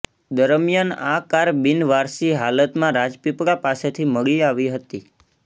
દરમિયાન આ કાર બિન વારસી હાલતમાં રાજપીપળા પાસેથી મળી આવી હતી